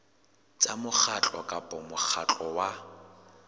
tsa mokgatlo kapa mokgatlo wa